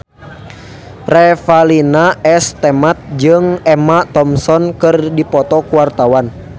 Revalina S. Temat jeung Emma Thompson keur dipoto ku wartawan